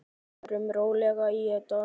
Við förum rólega í þetta.